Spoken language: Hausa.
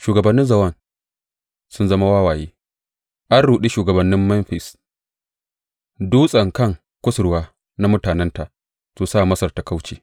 Shugabannin Zowan sun zama wawaye, an ruɗe shugabannin Memfis dutsen kan kusurwa na mutanenta su sa Masar ta kauce.